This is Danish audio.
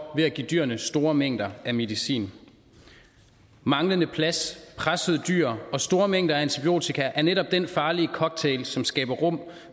ved at give dyrene store mængder af medicin manglende plads pressede dyr og store mængder af antibiotika er netop den farlige cocktail som skaber rum